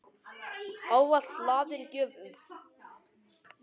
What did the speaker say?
Ávalt hlaðin gjöfum.